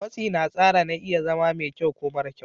Matsi na tsara na iya zama mai kyau ko mara kyau.